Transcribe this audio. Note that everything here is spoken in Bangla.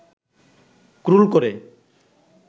ক্রল করে